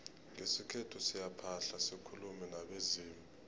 ngesikhethu siyaphahla sikulume nabezimu